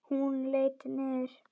Hún leit niður.